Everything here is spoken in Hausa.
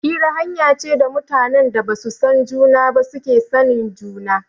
Hira hanya ce da mutanen da ba su san juna ba suke sanin juna.